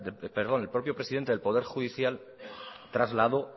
perdón el propio presidente del poder judicial trasladó